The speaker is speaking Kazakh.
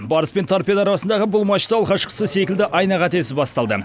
барыс пен торпедо арасындағы бұл матч ты алғашқысы секілді айна қатесіз басталды